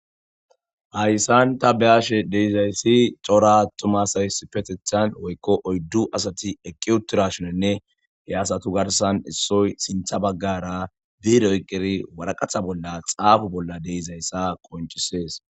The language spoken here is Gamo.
hayssan ta beyashe deizayssi cora tomasays petethan woykko oyddu asati eqqi utirashonenne he asatu garsan issoy sintha baggara diire yqqiri waraqatha bolla xaafu bolla deizayssa qoncisees